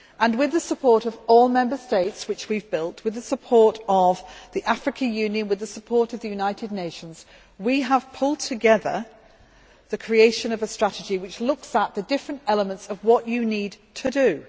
With the support of all Member States, which we have built, with the support of the African Union and with the support of the United Nations, we have pulled together the creation of a strategy which looks at the different elements of what you need to do.